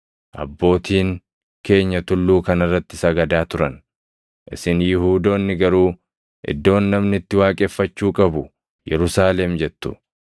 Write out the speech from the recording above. Abbootiin keenya tulluu kana irratti sagadaa turan; isin Yihuudoonni garuu iddoon namni itti waaqeffachuu qabu Yerusaalem jettu.”